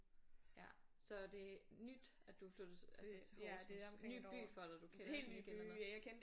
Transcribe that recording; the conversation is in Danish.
Ja så det nyt at du er flyttet til altså til Horsens ny by for dig du kender den ikke eller